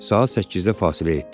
Saat 8-də fasilə etdi.